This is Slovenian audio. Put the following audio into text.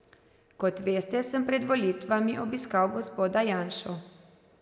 Kot veste, sem pred volitvami obiskal gospoda Janšo.